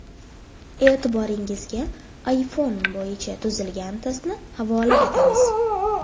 E’tiboringizga iPhone bo‘yicha tuzilgan testni havola etamiz.